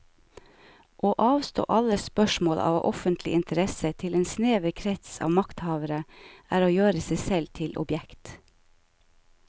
Å avstå alle spørsmål av offentlig interesse til en snever krets av makthavere er å gjøre seg selv til objekt.